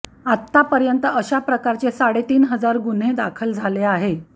आत्तापर्यंत अशा प्रकारचे साडेतीन हजार गुन्हे दाखल झाले आहे